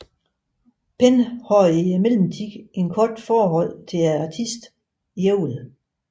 Penn havde i mellemtiden et kort forhold til artisten Jewel